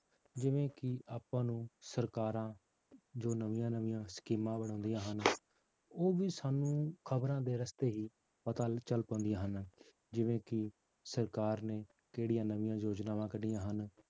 ਜਿਵੇਂ ਕਿ ਆਪਾਂ ਨੂੰ ਸਰਕਾਰਾਂ ਜੋ ਨਵੀਆਂ ਨਵੀਂਆਂ ਸਕੀਮਾਂ ਬਣਾਉਂਦੀਆਂ ਹਨ ਉਹ ਵੀ ਸਾਨੂੰ ਖ਼ਬਰਾਂ ਦੇ ਰਸਤੇ ਹੀ ਪਤਾ ਚੱਲ ਪਾਉਂਦੀਆਂ ਹਨ, ਜਿਵੇਂ ਕਿ ਸਰਕਾਰ ਨੇ ਕਿਹੜੀਆਂ ਨਵੀਂਆਂ ਯੋਜਨਾਵਾਂ ਕੱਢੀਆਂ ਹਨ